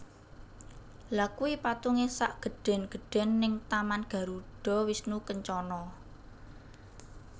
Lha kui patunge sak gedhen gedhen ning taman Garuda Wisnu Kencana